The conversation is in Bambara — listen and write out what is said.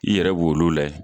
I yɛrɛ b'o la layɛ